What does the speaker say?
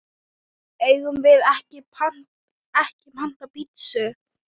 Eigum við ekki panta pitsu?